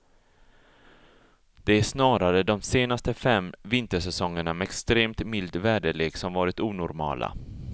Det är snarare de senaste fem vintersäsongerna med extremt mild väderlek som varit onormala.